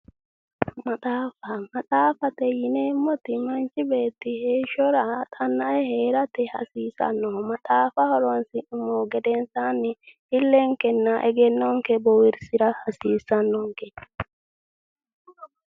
Maxaaffa, maxaaffate yineemmoti manchi beetti heeshshora xannae heerate hasiisannoho. maxaafa horonsi'nummohu gedensaanni illenkenna egennonke boowirsira hasiissannonke.